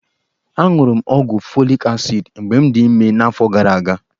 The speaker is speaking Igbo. Aṅụrụ m ọgwụ folik asid mgbe m dị ime n'afọ gara aga.